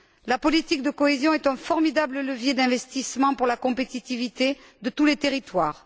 La politique de cohésion est un formidable levier d'investissement pour la compétitivité de tous les territoires.